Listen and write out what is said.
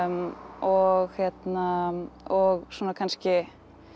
og og svona kannski